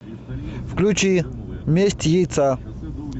включи месть яйца